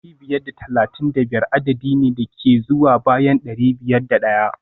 dari biyar da talatin da biyar adadi ne da ke zuwa bayan dari biyar da daya